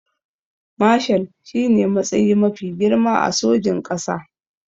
Mashal shine matsayi mafi girma a sojin ƙasa